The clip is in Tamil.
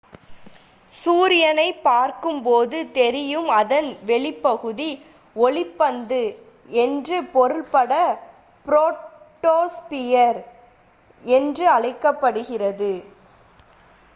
"சூரியனைப் பார்க்கும் போது தெரியும் அதன் வெளிப் பகுதி ஒளிப் பந்து" என்று பொருள் பட போட்டோஸ்பியர் என்று அழைக்கப்படுகிறது.